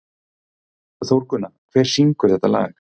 Þórgunna, hver syngur þetta lag?